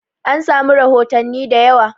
An samu rahotanni da yawa